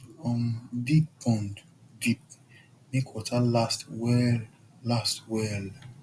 um dig pond deep make water last well last well